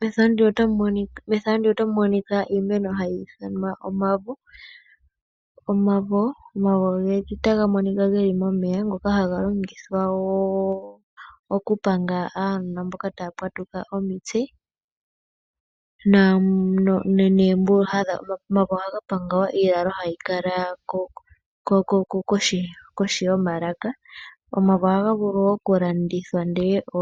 Mefano ndino otamu monika iimeno hatu yi ithana oomavo. Omavo otaga monika geli momeya ngoka haga logithwa wo oku panga aanona mboka taa pwatuka omutse. Omavo ohaga panga wo iilalo mbyoka hayi kala kohi yomalaka. Omavo oha vulu wo oku landithwa